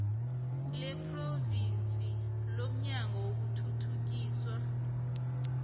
lephrovinsi lomnyango wokuthuthukiswa